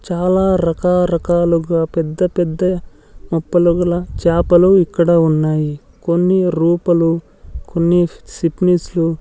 చాలా రక రకాలుగా పెద్ద పెద్ద మొప్పలు గల చాపలు ఇక్కడ ఉన్నాయి కొన్ని రూపలు కొన్ని లు --